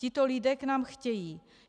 Tito lidé k nám chtějí.